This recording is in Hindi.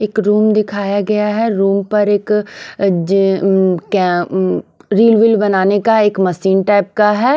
एक रूम दिखाया गया है रूम पर एक रील व्हील बनाने का एक मशीन टाइप का है।